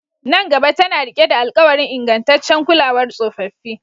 Nan gaba tana riƙe da alƙawarin ingantaccen kulawar tsofaffi